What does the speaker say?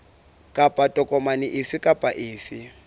kapa tokomane efe kapa efe